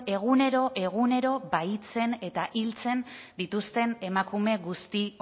egunero egunero bahitzen eta hiltzen dituzten emakume guzti